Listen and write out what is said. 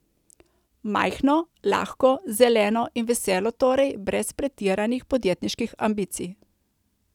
Majhno, lahko, zeleno in veselo torej, brez pretiranih podjetniških ambicij.